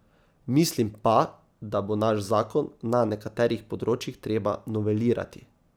Mislim pa, da bo naš zakon na nekaterih področjih treba novelirati.